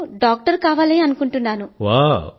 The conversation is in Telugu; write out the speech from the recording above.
నాకు డాక్టర్ అవ్వాలనుంది